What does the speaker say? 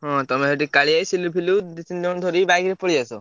ହଁ ତମେ ସେଠୁ କାଳିଆ ଭାଇ, ସିଲୁ ଫିଲୁ ଦି ତିନିଜଣଙ୍କୁ ଧରି bike ରେ ପଳେଇଆସ।